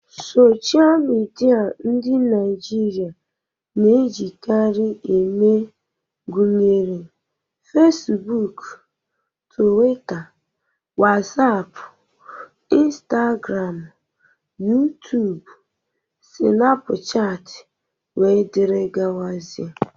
Sochịa midia ndị Naịjirịa na-ejikarị eme gụnyere Fesibuuku, Tuwita, Wasapụ, Instagramụ, Yutubu, Sịnapụchatị, wdg.